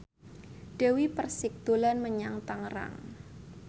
Dewi Persik dolan menyang Tangerang